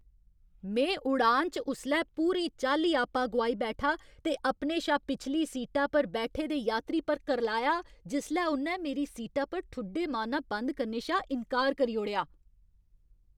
में उड़ान च उसलै पूरी चाल्ली आपा गोआई बैठा ते अपने शा पिछली सीटा पर बैठे दे यात्री पर करलाया जिसलै उ'न्नै मेरी सीटा पर ठुड्डे मारना बंद करने शा इन्कार करी ओड़ेआ।